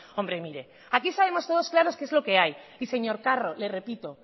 hombre mire aquí sabemos todos claros que es lo que hay y señor carro le repito